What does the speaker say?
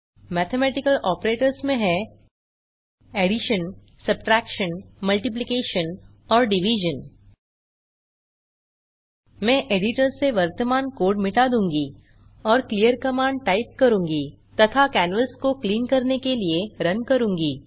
mathematical operators में हैं और मैं एडिटर से वर्तमान कोड मिटा दूँगा और क्लीयर कमांड टाइप करूँगा तथा कैनवास को क्लिन करने के लिए रुन करूँगा